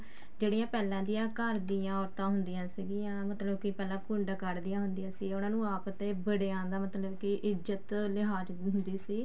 ਜਿਹੜੀਆਂ ਪਹਿਲਾਂ ਦੀਆਂ ਘਰ ਦੀਆਂ ਔਰਤਾਂ ਹੁੰਦੀਆਂ ਸੀਗੀਆਂ ਮਤਲਬ ਪਹਿਲਾਂ ਘੁੰਡ ਕੱਡ ਦੀਆਂ ਹੁੰਦੀਆਂ ਸੀ ਉਹਨਾ ਨੂੰ ਆਪ ਤੇ ਬੜਿਆਂ ਦਾ ਮਤਲਬ ਕੇ ਇੱਜਤ ਲਿਹਾਜ ਹੁੰਦੀ ਸੀ